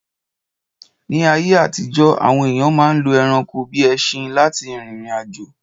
Ní ayé àtijọ́, àwọn èyàn ma ń lo ẹranko bíi ẹṣin lá ti rìrìn àjò.